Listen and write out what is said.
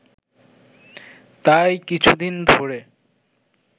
তাই কিছুদিন ধরে